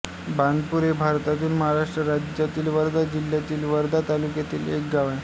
बाणपूर हे भारतातील महाराष्ट्र राज्यातील वर्धा जिल्ह्यातील वर्धा तालुक्यातील एक गाव आहे